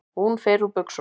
Hún fer úr buxunum.